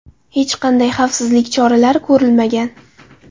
Hech qanday xavfsizlik choralari ko‘rilmagan.